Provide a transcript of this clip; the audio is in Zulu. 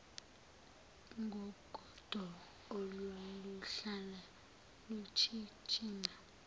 ngogodo olwaluhlala luchichima